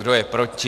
Kdo je proti?